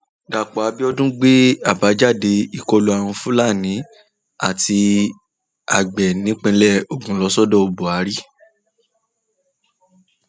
dápò abiodun gbé àbájáde ìkọlù àwọn fúlàní àti agbe ìpínlẹ ogun lọ sọdọ buhari